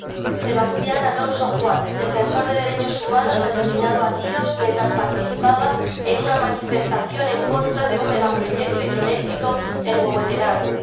Señor presidente Sebastián Alonso Juan, defensor de derechos humanos asesinado a tiros mientras participaba en una manifestación en contra de un megaproyecto hidroeléctrico en Huehuetenango